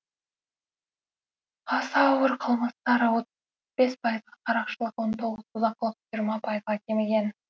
аса ауыр қылмыстар отыз бес пайызға қарақшылық он тоғыз бұзақылық жиырма пайызға кеміген